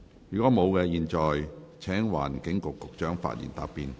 如果沒有，我現在請環境局局長發言答辯。